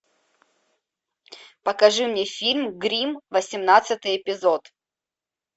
покажи мне фильм гримм восемнадцатый эпизод